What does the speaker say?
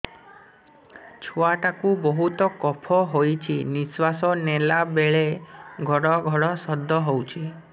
ଛୁଆ ଟା କୁ ବହୁତ କଫ ହୋଇଛି ନିଶ୍ୱାସ ନେଲା ବେଳେ ଘଡ ଘଡ ଶବ୍ଦ ହଉଛି